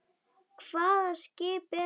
Hvaða skip er þetta?